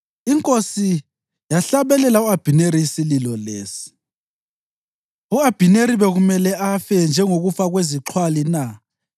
Inkosi yahlabelela u-Abhineri isililo lesi: “U-Abhineri bekumele afe njengokufa kwezixhwali na?